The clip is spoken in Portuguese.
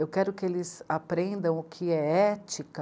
Eu quero que eles aprendam o que é ética.